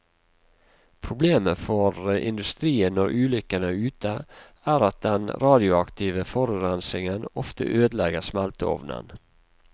Problemet for industrien når ulykken er ute, er at den radioaktive forurensingen ofte ødelegger smelteovnen.